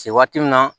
Se waati min na